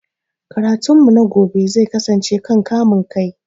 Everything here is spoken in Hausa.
Karatun mu na gobe zai kasance kan kamun kai